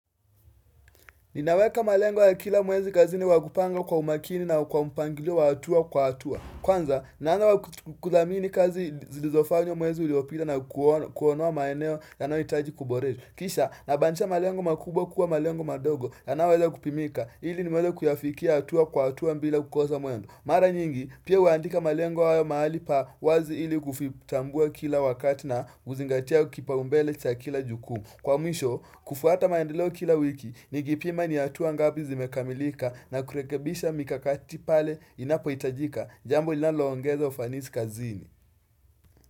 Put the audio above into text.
Ninaweka malengo ya kila mwezi kazini wakupanga kwa umakini na kwa mpangilio wa hatua kwa hatua. Kwanza, naanza kudhamini kazi zilizofanywa mwezi uliopita na kuonoa maeneo yanayoitaji kuborefu. Kisha, nabadilisha malengo makubwa kuwa malengo madogo yanayoweza kupimika. Ili niweze kuyafikia hatua kwa hatua bila kukosa mwendo. Mara nyingi, pia huandika malengo haya mahali pa wazi ili kufitambua kila wakati na kuzingatia kipaumbele cha kila jukumu. Kwa mwisho, kufuata maendeleo kila wiki, nikipima ni hatua ngapi zimekamilika na kurekebisha mikakati pale inapoitaijika jambo inaloongeza ufanisi kazini.